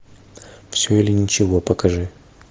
все или ничего покажи